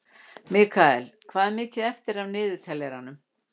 Mikaela, hvað er mikið eftir af niðurteljaranum?